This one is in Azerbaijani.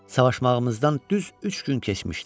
Savaşmağımızdan düz üç gün keçmişdi.